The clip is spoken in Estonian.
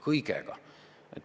Kõigega!